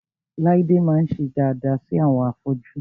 Láídé máa ń ṣe daada sí àwọn afọ́jú